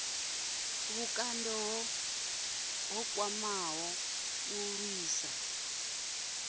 vhukando ho khwaṱhaho u lwisa